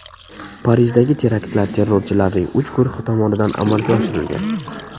Parijdagi teraktlar terrorchilarning uch guruhi tomonidan amalga oshirilgan.